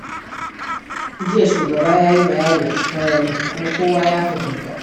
Jiya, shugaba ya yi bayani a sarari, kuma kowa ya fahimta.